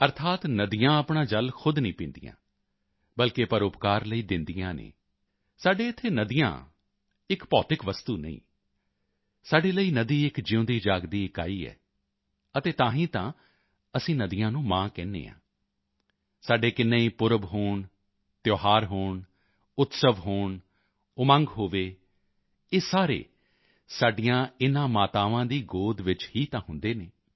ਅਰਥਾਤ ਨਦੀਆਂ ਆਪਣਾ ਜਲ ਖ਼ੁਦ ਨਹੀਂ ਪੀਂਦੀਆਂ ਬਲਕਿ ਪਰਉਪਕਾਰ ਲਈ ਦਿੰਦੀਆਂ ਹਨ ਸਾਡੇ ਇੱਥੇ ਨਦੀਆਂ ਇੱਕ ਭੌਤਿਕ ਵਸਤੂ ਨਹੀਂ ਸਾਡੇ ਲਈ ਨਦੀ ਇੱਕ ਜਿਊਂਦੀਜਾਗਦੀ ਇਕਾਈ ਹੈ ਅਤੇ ਤਾਂ ਹੀ ਤਾਂ ਅਸੀਂ ਨਦੀਆਂ ਨੂੰ ਮਾਂ ਕਹਿੰਦੇ ਹਾਂ ਸਾਡੇ ਕਿੰਨੇ ਹੀ ਪੁਰਬ ਹੋਣ ਤਿਉਹਾਰ ਹੋਣ ਉਤਸਵ ਹੋਣ ਉਮੰਗ ਹੋਵੇ ਇਹ ਸਾਰੇ ਸਾਡੀਆਂ ਇਨ੍ਹਾਂ ਮਾਤਾਵਾਂ ਦੀ ਗੋਦ ਵਿੱਚ ਹੀ ਤਾਂ ਹੁੰਦੇ ਹਨ